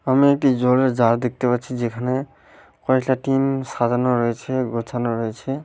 আমি একটি জলের জার দেখতে পাচ্ছি যেখানে কয়েকটা টিন সাজানো রয়েছে গোছানো রয়েছে।